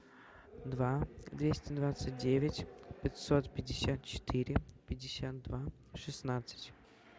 два двести двадцать девять пятьсот пятьдесят четыре пятьдесят два шестнадцать